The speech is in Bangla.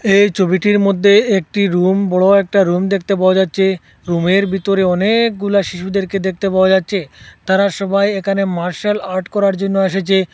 এই চবিটির মদ্যে একটি রুম বড় একটা রুম দেখতে পাওয়া যাচ্চে রুমের বিতরে অনেকগুলা শিশুদেরকে দেখতে পাওয়া যাচ্চে তারা সবাই একানে মার্শাল আর্ট করার জন্য এসেচে।